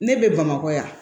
Ne bɛ bamakɔ yan